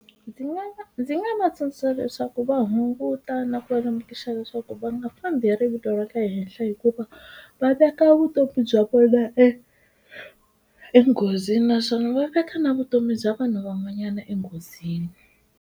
Ndzi ndzi nga va tsundzuxa leswaku va hunguta na ku lemukisa leswaku va nga fambi hi rivilo ra le henhla hikuva va veka vutomi bya vona e enghozini naswona va veka na vutomi bya vanhu van'wanyana enghozini.